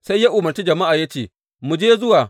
Sai ya umarci jama’a ya ce, Mu je zuwa!